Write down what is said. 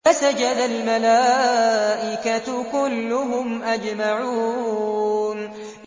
فَسَجَدَ الْمَلَائِكَةُ كُلُّهُمْ أَجْمَعُونَ